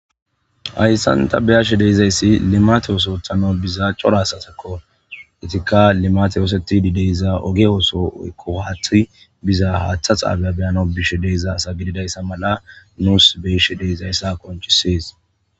Haysan ta beyashe de'izasi limate ooso othana biza cora asazako, izika limate osetidi de'iza oge ooso woyko haathey biza Hatha xabiya beyanawu bishe di'za asa gididaysa mala nuusi beyishe de'izaysa qoncises.